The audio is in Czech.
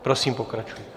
Prosím, pokračujte.